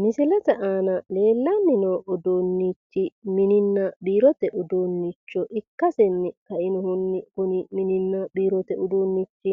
misilete aana leellanni no uduunnichi mininna biirote uduunnicho ikkasinni kainohunni kuni mininna biirote uduunnichi